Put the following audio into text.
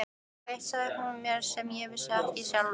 Og eitt sagði hún mér sem ég vissi ekki sjálfur.